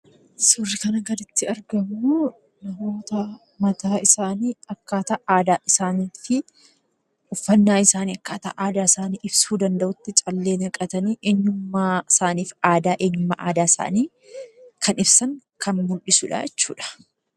Suuraan armaan gaditti argamu kun suuraa dubartootaa mataa isaaniitti callee naqatanii akkaataa uffanaa aadaa isaanii ibsuu danda'utti uffatanii bareedanii jiru.